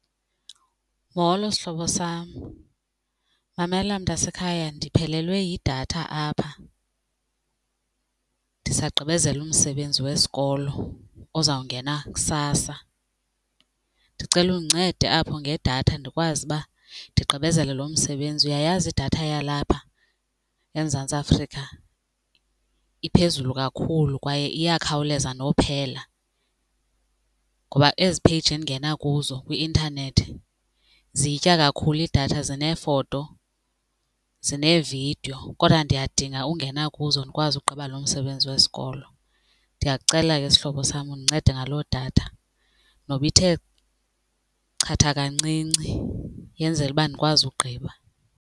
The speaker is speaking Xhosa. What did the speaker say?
Molo, sihlobo sam. Mamela mntasekhaya, ndiphelelwe yidatha apha ndisagqibezela umsebenzi wesikolo ozawungena kusasa. Ndicela undincede apho ngedatha ndikwazi uba ndigqibezele lo msebenzi. Uyayazi idatha yalapha eMzantsi Afrika iphezulu kakhulu kwaye iyakhawuleza nophela ngoba ezi page endingena kuzo kwi-intanethi ziyitya kakhulu idatha zineefoto zineevidiyo kodwa ndiyadinga ungena kuzo ndikwazi ukugqiba uba lo msebenzi wesikolo. Ndiyakucela ke sihlobo sam undincede ngaloo datha noba ithe chatha kancinci yenzele uba ndikwazi ukugqiba.